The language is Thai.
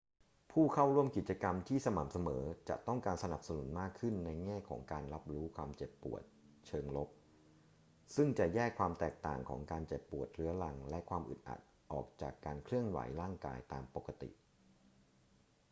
ผู้เข้าร่วมกิจกรรมที่สม่ำเสมอจะต้องการการสนับสนุนมากขึ้นในแง่ของการรับรู้ความเจ็บปวดเชิงลบ ซึ่งจะแยกความแตกต่างของการเจ็บปวดเรื้อรังและความอึดอัดออกจากการเคลื่อนไหวร่างกายตามปกติ